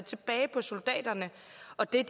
og det er